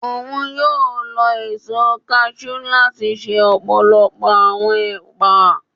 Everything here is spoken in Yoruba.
Oun yóò lò eso cashew lati ṣe ọpọlọpọ awọn epa